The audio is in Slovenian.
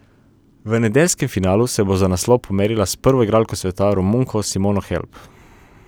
V nedeljskem finalu se bo za naslov pomerila s prvo igralko sveta, Romunko Simono Halep.